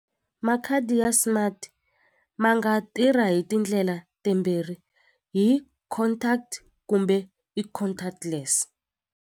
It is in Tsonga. Makhadi ya smart ma nga tirha hi tindlela timbirhi hi contact kumbe i contactless.